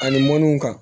Ani mɔnniw kan